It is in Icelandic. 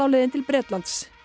leiðin til Bretlands